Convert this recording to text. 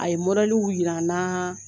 A ye jira n na